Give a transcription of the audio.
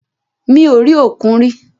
Mi ò rí òkun rí.